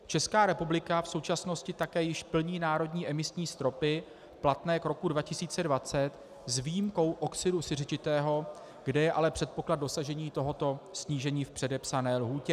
Česká republika v současnosti také již plní národní emisní stropy platné k roku 2020, s výjimkou oxidu siřičitého, kde je ale předpoklad dosažení tohoto snížení v předepsané lhůtě.